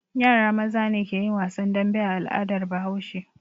Yara maza ne ke yin wasan dambe a al'adar Bahaushe.